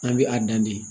An bɛ a dan de